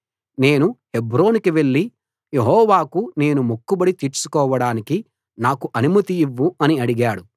నేను హెబ్రోనుకు వెళ్ళి యెహోవాకు నేను మొక్కుబడి తీర్చుకొనడానికి నాకు అనుమతి ఇవ్వు అని అడిగాడు